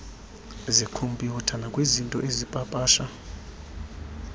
zekhompyutha nakwizinto azipapasha